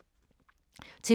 TV 2